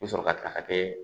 I bɛ sɔrɔ ka ta ka kɛ